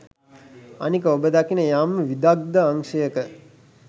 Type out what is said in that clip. අනික ඔබ දකින යම් විදග්ධ අංශයක